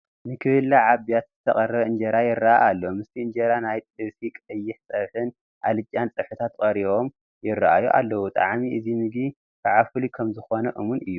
ንክብላዕ ኣብ ቢያቲ ዝተቐረበ እንጀራ ይርአ ኣሎ፡፡ ምስቲ እንጀራ ናይ ጥብሲ፣ ቀይሕ ፀብሕን ኣልጫን ፀብሕታት ቀሪቦም ይርአዩ ኣለዉ፡፡ ጣዕሚ እዚ ምግቢ ከዓ ፍሉይ ከምዝኾን እሙን እዩ፡፡